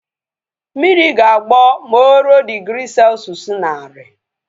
Mmiri ga-agbọ ma o ruo digri selshụs naari